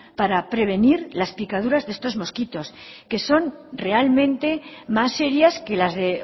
para prevenir las picaduras de estos mosquitos que son realmente más serias que las de